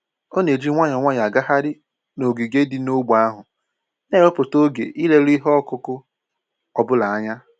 Ọ na-eji nwayọọ nwayọọ agagharị n'ogige dị n'ógbè ahụ, na-ewepụta oge ileru ihe ọkụkụ ọ bụla anya